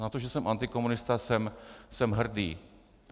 Na to, že jsem antikomunista, jsem hrdý.